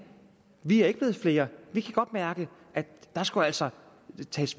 vi er ikke blevet flere vi kan godt mærke at der skal altså